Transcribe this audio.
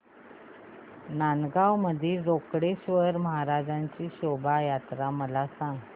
नांदगाव मधील रोकडेश्वर महाराज शोभा यात्रा मला सांग